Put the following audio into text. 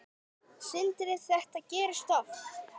Sindri: Þetta gerist oft?